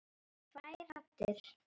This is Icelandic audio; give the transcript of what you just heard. Tvær raddir.